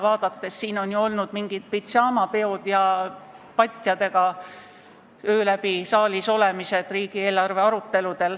Siin on riigieelarve aruteludel olnud mingid pidžaamapeod ja patjadega öö läbi saalis olemised.